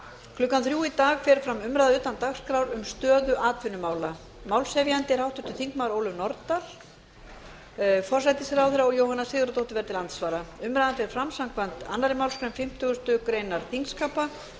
klukkan fimmtán í dag fer fram umræða utan dagskrár um stöðu atvinnumála málshefjandi er háttvirtir þingmenn ólöf nordal forsætisráðherra jóhanna sigurðardóttir verður til andsvara umræðan fer fram samkvæmt annarri málsgrein fimmtugustu grein þingskapa